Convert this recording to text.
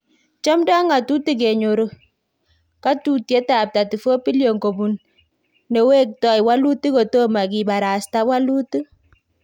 Chomdo ngatutik kenyor katutiet ab 34B kopun newektoi walutik kotomo kibarasta walutik